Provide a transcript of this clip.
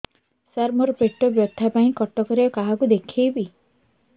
ସାର ମୋ ର ପେଟ ବ୍ୟଥା ପାଇଁ କଟକରେ କାହାକୁ ଦେଖେଇବି